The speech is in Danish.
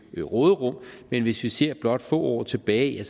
råderum men hvis vi ser blot får år tilbage